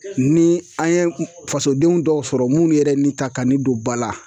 Ni an ye fasodenw dɔw sɔrɔ minnu yɛrɛ ni ka kan ka ni don ba la